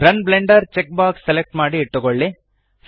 run Blender check box select ಮಾಡಿ ಇಟ್ಟುಕೊಳ್ಳಿ